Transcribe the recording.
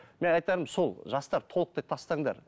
мен айтам сол жастар толықтай тастаңдар